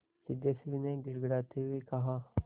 सिद्धेश्वरी ने गिड़गिड़ाते हुए कहा